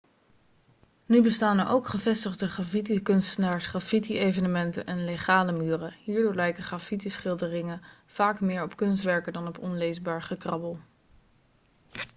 nu bestaan er ook gevestigde graffitikunstenaars graffiti-evenementen en legale' muren hierdoor lijken graffiti-schilderingen vaak meer op kunstwerken dan op onleesbaar gekrabbel